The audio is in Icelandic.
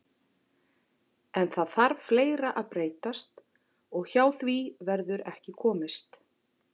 En það þarf fleira að breytast og hjá því verður ekki komist.